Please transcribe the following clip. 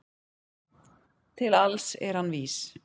Til alls er hann vís